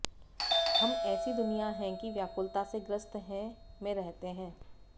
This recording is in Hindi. हम ऐसी दुनिया है कि व्याकुलता से ग्रस्त है में रहते हैं